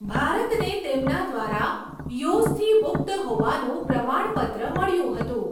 ભારતને તેમના દ્વારા યૉઝથી મુક્ત હોવાનું પ્રમાણપત્ર મળ્યું હતું.